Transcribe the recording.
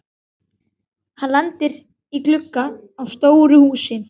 Hann lendir í glugga á stóru húsi.